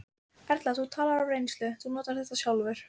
Erla: Þú talar af reynslu, þú notar þetta sjálfur?